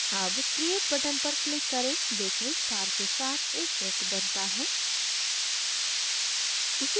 अब create button पर click करें देखें star के साथ एक वृत्त बनता है